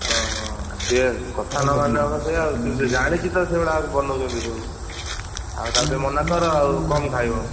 ଓହୋ ସିଏ କଥା ନମାନିଲେ ହବ ସେଇଆ ହୁଁ ସେ ଜାଣିଛି ତ ସେଗୁଡା ବନେଇଛନ୍ତି ସବୁ ଆଉ ତାକୁ ଟିକେ ମନାକର ଆଉ କମ ଖାଇବ।